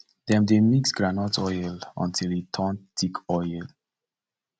dem dey mix groundnut oil until e turn thick oil